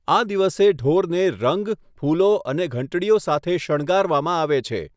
આ દિવસે ઢોરને રંગ, ફૂલો અને ઘંટડીઓ સાથે શણગારવામાં આવે છે.